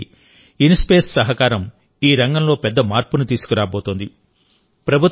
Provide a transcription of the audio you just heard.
విశేషించి ఇన్స్పేస్ సహకారం ఈ రంగంలో పెద్ద మార్పును తీసుకురాబోతోంది